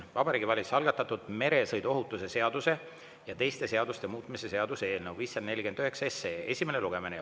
See on Vabariigi Valitsuse algatatud meresõiduohutuse seaduse ja teiste seaduste muutmise seaduse eelnõu 549 esimene lugemine.